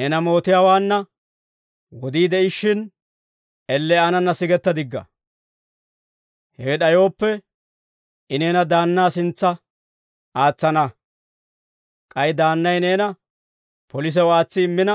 «Neena mootiyaawaanna wodii de'ishshin elle aanana sigetta digga; hewe d'ayooppe, I neena daannaa sintsa aatsana; k'ay daannay neena polisew aatsi immina,